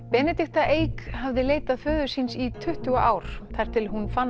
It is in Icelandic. Benedikta Eik hafði leitað föður síns í tuttugu ár þar til hún fann